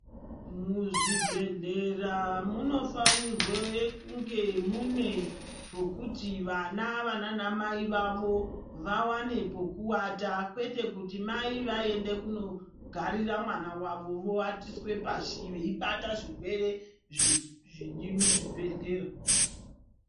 Muzvibhedhlera munofanirwe kunge mune pokuti vana vananamai vavo ,vawane pokuwata, kwete kuti mai aende kunogarira mwana wavo vowatiswe pashi, veibata zvirwere zviri muzvibhedhlera.